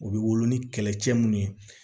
U bɛ wolo ni kɛlɛcɛ minnu ye